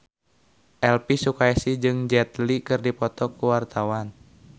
Elvi Sukaesih jeung Jet Li keur dipoto ku wartawan